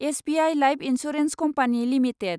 SBI life insurance company limited